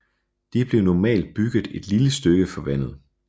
De blev normalt bygget et lille stykke fra vandet